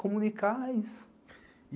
Comunicar é isso.